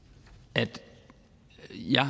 at jeg